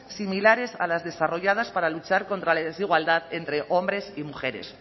similares a las desarrolladas para luchar contra la desigualdad entre hombres y mujeres